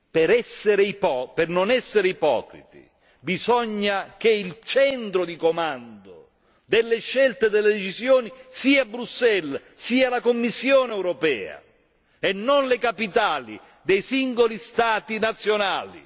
Per non essere ipocriti, bisogna che il centro di comando delle scelte delle decisioni sia Bruxelles, sia la Commissione europea e non le capitali dei singoli Stati nazionali.